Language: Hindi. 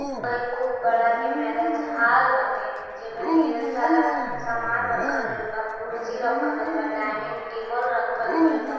खूब बड़ा के मेरिज हाल बाटे जे मे ढेर सारा समान रखल गईल बा कुर्सी रखल गईल बा डाइनिंग टेबल रखल गईल बा।